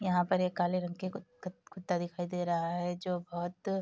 यहाँ पर एक काले रंग के कुत कुत कुत्ता दिखाई दे रहा है जो बहुत --